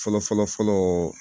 Fɔlɔ fɔlɔ fɔlɔ